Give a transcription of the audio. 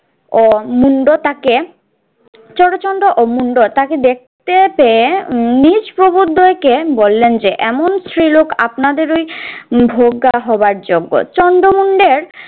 ও মুন্ড তাকে চরচণ্ড ও মুন্ড তাকে দেখতে পেয়ে উহ নিচ প্রবোদদ্বয়কে বললেন যে এমন স্ত্রী লোক আপনাদেরই ভোগ্যা হওয়ার যোগ্য। চন্দ্রমুন্ডের